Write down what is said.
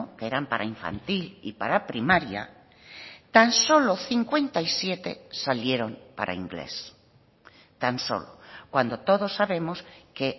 que eran para infantil y para primaria tan solo cincuenta y siete salieron para inglés tan solo cuando todos sabemos que